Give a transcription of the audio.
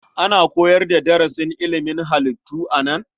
Ana koyar da darasin ilimin halittu a nan?